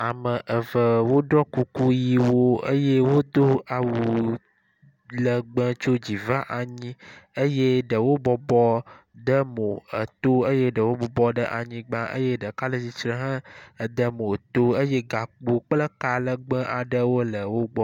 ame eve wóɖɔ kuku yiwo eye wodó awu legbe tso dzi va anyi eye ɖewo bɔbɔ demo eto eye ɖewo bɔbɔ ɖe anyigbã eye ɖeka le tsitsre he de emo to eye gakpo kple ka legbe aɖewo le wógbɔ